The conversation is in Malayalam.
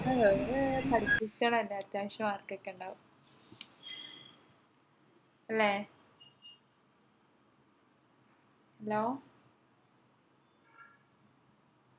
ഏർ ഓറ് പഠിപ്പിക്കണം അല്ലെ അത്യാവശ്യം mark ഒക്കെ ഉണ്ടാവും അല്ലെ hello